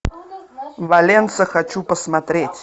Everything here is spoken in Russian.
валенса хочу посмотреть